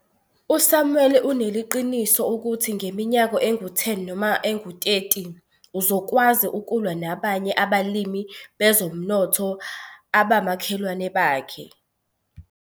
USamuel uneliqiniso ukuthi ngeminyaka engu-10 noma engu-30 uzokwazi ukulwa nabanye abalimi bezomnotho abamakhelwana akhe.